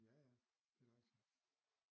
Ja ja det er da rigtig